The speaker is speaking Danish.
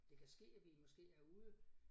Det kan ske at vi måske er ude